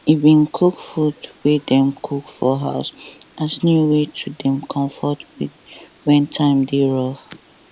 e bin cook food wey dem cook for house as new way to dey comfort wen time dey tough